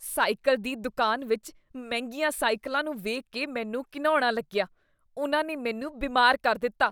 Cycle ਦੀ ਦੁਕਾਨ ਵਿੱਚ ਮਹਿੰਗੀਆਂ ਸਾਈਕਲਾਂ ਨੂੰ ਵੇਖ ਕੇ ਮੈਨੂੰ ਘਿਣਉਣਾ ਲੱਗਿਆ। ਉਨ੍ਹਾਂ ਨੇ ਮੈਨੂੰ ਬਿਮਾਰ ਕਰ ਦਿੱਤਾ।